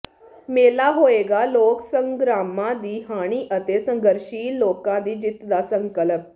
ਮੇਲਾ ਹੋਏਗਾ ਲੋਕ ਸੰਗਰਾਮਾਂ ਦਾ ਹਾਣੀ ਅਤੇ ਸੰਘਰਸ਼ਸ਼ੀਲ ਲੋਕਾਂ ਦੀ ਜਿੱਤ ਦਾ ਸੰਕਲਪ